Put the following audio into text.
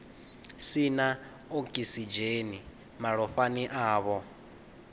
si na okisidzheni malofhani avho